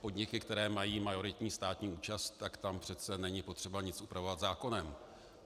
Podniky, které mají majoritní státní účast, tak tam přece není potřeba nic upravovat zákonem.